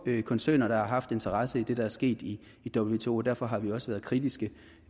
koncerner der har haft interesse i det der er sket i wto og derfor har vi også være kritiske